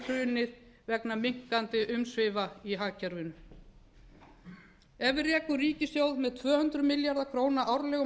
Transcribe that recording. hrunið vegna minnkandi umsvifa í hagkerfinu ef við rekum ríkissjóð með tvö hundruð milljarða króna árlegum